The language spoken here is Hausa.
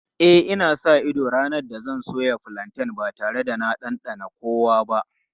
E, ina sa ido ranar da zan soya fulanten ba tare da na ɗanɗana kowa ba.